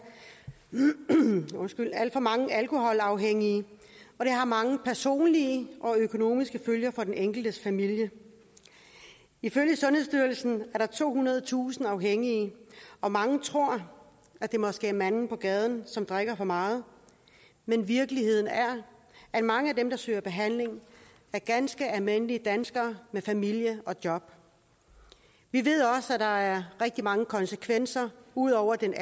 alt for mange alkoholafhængige og det har mange personlige og økonomiske følger for den enkeltes familie ifølge sundhedsstyrelsen er der tohundredetusind afhængige og mange tror at det måske er manden på gaden som drikker for meget men virkeligheden er at mange af dem der søger behandling er ganske almindelige danskere med familie og job vi ved også at der er rigtig mange konsekvenser ud over den